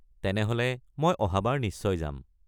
তেনেহ'লে, মই অহাবাৰ নিশ্চয় যাম।